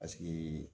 Paseke